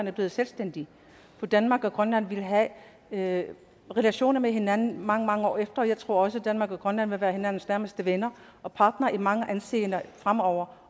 er blevet selvstændigt for danmark og grønland vil have relationer med hinanden mange mange år efter jeg tror også at danmark og grønland vil være hinandens nærmeste venner og partnere i mange henseender fremover